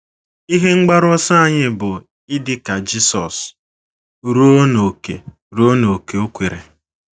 Ihe mgbaru ọsọ anyị bụ idi ka Jisọs ruo n’ókè ruo n’ókè o kwere.